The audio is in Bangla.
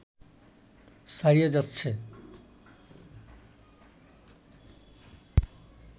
ছাড়িয়ে যাচ্ছে